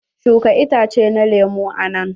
Shuka itace na lemun a nan.